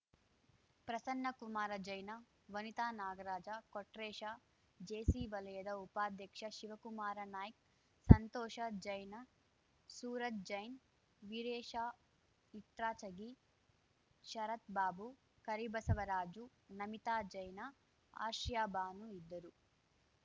Prasannakumara Jain Vanitha Nagaraj Kotresh JC ವಲಯದ ಉಪಾಧ್ಯಕ್ಷ ಶಿವಕುಮಾರ ನಾಯ್ಕ ಸಂತೋಷ ಜೈನ ಸೂರಜ್‌ ಜೈನ್‌ ವೀರೇಶ ಇಟ್ರಾಚಗಿ ಶರತ್‌ ಬಾಬು ಕರಿಬಸವರಾಜು ನಮಿತಾ ಜೈನ ಆರ್ಶೀಯ ಬಾನು ಇದ್ದರು